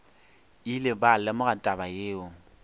ile ba lemoga taba yeo